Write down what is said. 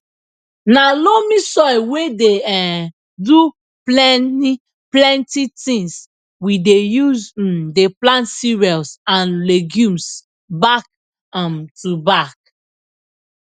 na loamy soil wey dey um do pleni plenti tins we dey use um dey plant cereals and legumes back um to back